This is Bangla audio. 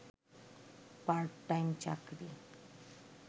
পার্ট টাইম চাকরি